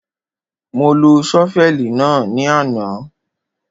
Mo lo ṣọ́fẹ̀lì náà ní àná.